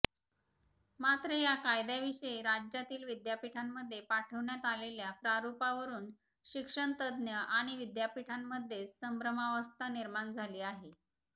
मात्र या कायद्याविषयी राज्यातील विद्यापीठांमध्ये पाठवण्यात आलेल्या प्रारूपावरून शिक्षणतज्ज्ञ आणि विद्यापीठांमध्येच संभ्रमावस्था निर्माण झाली आहे